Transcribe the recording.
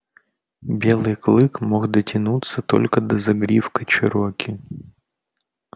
белый клык мог дотянуться только до загривка чероки